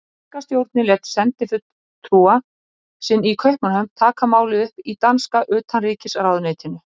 Þýska stjórnin lét sendifulltrúa sinn í Kaupmannahöfn taka málið upp í danska utanríkisráðuneytinu.